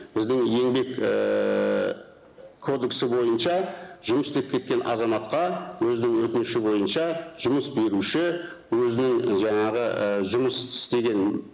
біздің еңбек ііі кодексі бойынша жұмыс істеп кеткен азаматқа өзінің өтініші бойынша жұмыс беруші өзінің і жаңағы ііі жұмыс істеген